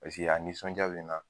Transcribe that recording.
Paseke a nisɔnjaa bɛ n na.